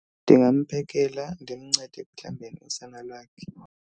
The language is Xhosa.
Ndingamphekela, ndimncede ekuhlambeni usana lwakhe.